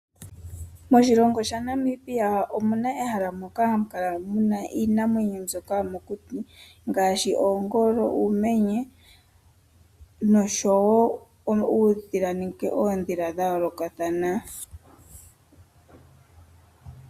Moshilongo shaNamibia omuna ehala moka hamu kala muna iinamwenyo mbyoka yomokuti ngaashi oongolo, uumenye noshowo uudhila nenge oondhila dha yoolokathana.